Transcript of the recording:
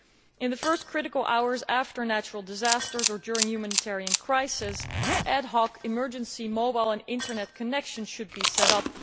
In the first critical hours after natural disasters or during humanitarian crises, ad hoc emergency mobile and Internet connections should be set up.